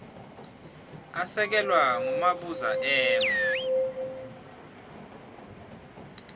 asekelwa ngumabuza m